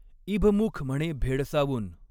इभमुख म्हणे भेडसावून।